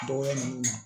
Dɔgɔya ninnu na